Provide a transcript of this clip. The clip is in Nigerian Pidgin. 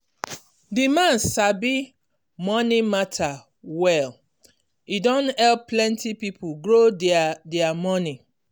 di man sabi money matter well e don help plenty people grow their their money.